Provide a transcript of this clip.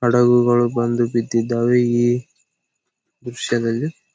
ಹಡಗುಗಳು ಬಂದು ಬಿದ್ದಿದಾವೆ ಈ ದೃಶ್ಯದಲ್ಲಿ .